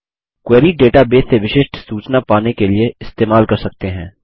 query database से विशिष्ट सूचना पाने के लिए इस्तेमाल कर सकते हैं